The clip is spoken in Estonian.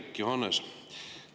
Hendrik Johannes!